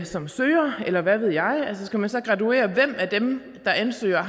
som søger eller hvad ved jeg altså skal man så graduere hvem af dem der ansøger